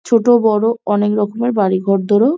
ছোটো বড়ো আনেক রকমের বাড়ি ঘরদোর ও --